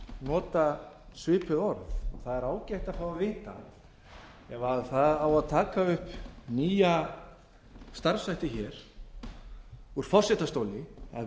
nota svipuð orð það er ágætt að fá að vita ef taka á upp nýja starfshætti úr forsetastóli að